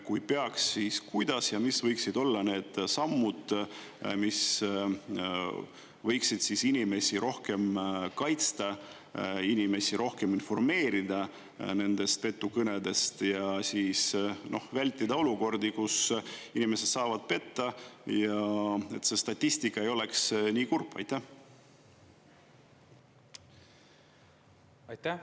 Kui peaks, siis kuidas ja mis võiksid olla need sammud, mis võiksid inimesi rohkem kaitsta, inimesi rohkem informeerida petukõnedest ja vältida olukordi, kus inimesed saavad petta, et see statistika ei oleks nii kurb?